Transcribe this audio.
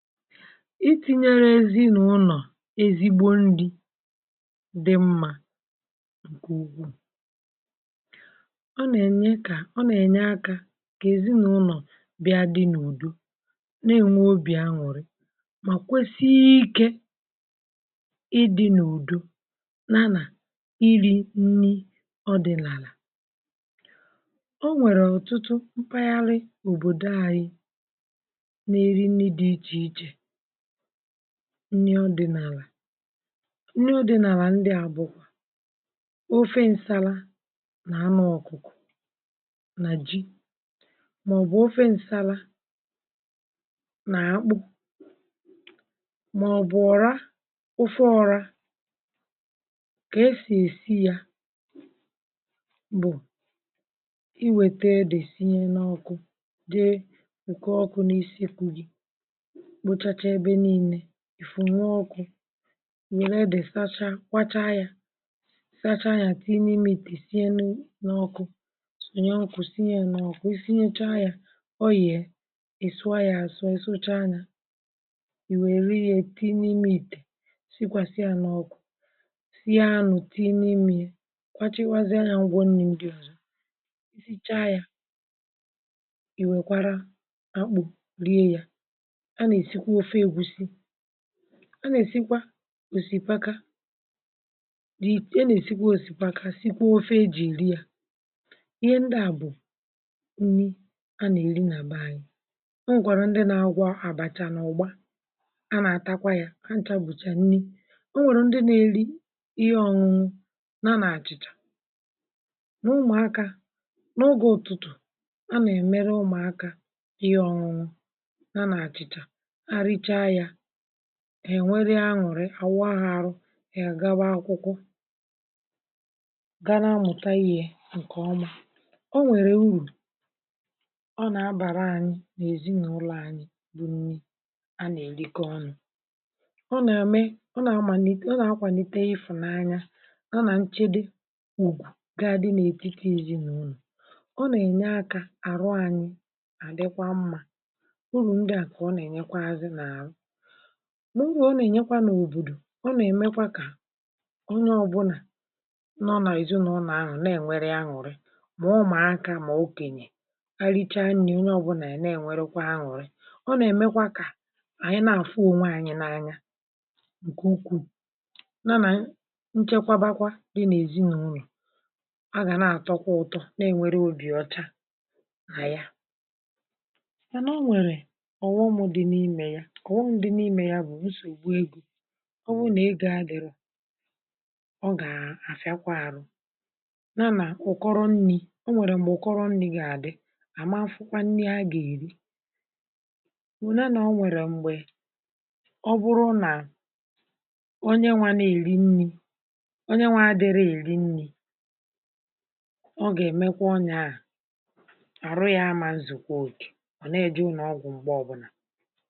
Itinyere èzinàụnọ̀, ezigbo ndị dị mmȧ, ǹkè ugwu, ọ nà-ènye, kà ọ nà-ènye akȧ, kà èzinàụnọ̀ bịa dị n’ùdo, n’enwe obì aṅụ̀rị, mà kwesighi ikė ịdị̇ n’ùdo nànà iri̇ nni̇. Ọ dị̀ n’àlà, o nwèrè ọ̀tụtụ mpaghara òbòdo àrị̇ nni̇.Ọdị̀ n’àlà nni̇, ọdị̀ n’àlà ndị àbụ̀kwà ofe nsala nà anụ ọ̀kụ̀kọ̀ nà ji, màọbụ̀ ofe nsala nà-akpụ, um màọbụ̀ ọ̀ra — ofe ọra kà esì èsi yȧ. Bụ̀ iwètèe, dị̀, sinye n’ọkụ dị ǹkè ọkụ̇ n’isi. Kwụ̇ gị, ìfù, nwe ọkụ̇, ìwère edè, sacha, kwacha yȧ, sacha yȧ, tìnu imi ìtè, sinya n’ọkụ̇, sònyé ǹkụ̀, sinye yȧ n’ọkụ̇, sinye chȧ yȧ, ọ yà è sụa yȧ àsọ̇, è sụcha yȧ. Ìwè è righė, tìnu imi ìtè, sikwàsịa n’ọkụ̇, sịȧ anụ̀, tìnu imi yȧ, kpachakwazịa yȧ, ngwọ nni̇. Ǹdị ozi a nà-èsikwa òsìkwaka ya; e nà-èsikwa òsìkwaka, sikwa ofe e jì ìri ya. Ihe ndị à bụ̀ nni̇ a nà-èri nà-àba anyị̇. O nwèkwàrà ndị nà-agwọ àbàcha n’ụ̀gba; a nà-àtakwa ya, hà chabùcha nni̇.O nwèrè ndị nà-èri ihe ọ̇nụ̇nụ̇ nà a nà-àchịchà. N’ụmụ̀akȧ n’ụgà ụ̀tụtụ̀, a nà-èmere ụmụ̀akȧ ihe ọ̇nụ̇nụ̇, ènwere aṅụrị awụahụ̇. Ȧrụ̇ ègagba akwụkwọ, gà n’amụ̀tà ihe ǹkè ọma. Ọ nwèrè urù, ọ nà-abàra ȧnyị̇ n’èzi n’ụlọ̇ anyị̇ — bụ̀ nnì a nà-èlike ọnụ̇.Ọ nà-àme, ọ nà-àmànwè, ọ nà-akwànite; ịfụ̀nà anya ọ nà-nchedị wù, gà-adị n’ètike èzi n’ụlọ̀. Ọ nà-ènye akȧ àrụ̇ anyị̇, àdịkwa mmȧ n’ubì akwụkwọ̇, n’ubì atọ̀. Ọ̀tọkwa ànọ̀rọ̀ n’àlà, mà nà-ènye ǹkè n’ugò. Ọ̀tọkwa ànọ̀rọ̀ n’ugò àkwụkwọ̇ n’ùkwù, mà nà-ènye. Ọ̀tọkwa ànọ̀rọ̀ n’ùkwù, ọ̀tọkwa ànọ̀rọ̀ n’ùkwù, mà nà-ènye ọ̀tọkwa ànọ̀rọ̀ n’ùkwù. Ọ̀tọkwa ànọ̀rọ̀ n’ùkwù, mà nà-ènye ọ̀tọkwa ànọ̀rọ̀ n’ùkwù. Ọ̀bụ̀rụ̀ nà ị gà-agharị mkpụrụ, nà o nwèrè m̀gbè ọ kpọọ nri̇ gị̇. Nà-adịghị̇ mmiri̇ nà-àrụ̇ mkpụrụ, nà-àrụ̇ mkpụrụ nri̇ gị̇, namȧfụ̇kwȧ nri̇ a gà-èri, um màọ̀bụ̀ nà o nwèrè m̀gbè. Ọ̀bụ̀rụ̀ nà onye nwȧ na-èri nni̇, onye nwȧ adịrị èri nni̇, ọ gà-èmekwa ọnye à.